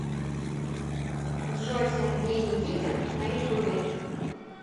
джой сергей никитин на ютубе